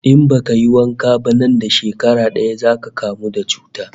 In baka yi wanka ba nan da shekara daya zaka kamu da cuta